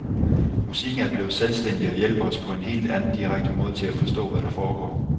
Musikken er blevet selvstændig og hjælper os på en helt anden direkte måde til at forstå, hvad der foregår.